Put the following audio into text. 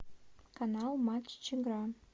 канал матч игра